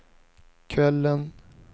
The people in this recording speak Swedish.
kvällen